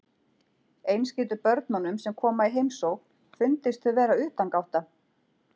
Eins getur börnunum sem koma í heimsókn fundist þau vera utangátta.